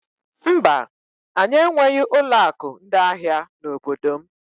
Mba, anyị enweghị ụlọ akụ ndị ahịa n'obodo m.